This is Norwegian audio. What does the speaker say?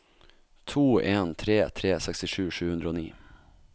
to en tre tre sekstisju sju hundre og ni